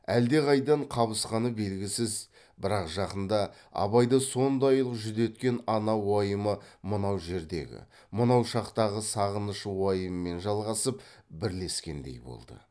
әлдеқайдан қабысқаны белгісіз бірақ жақында абайды сондайлық жүдеткен ана уайымы мынау жердегі мынау шақтағы сағыныш уайымымен жалғасып бірлескендей болды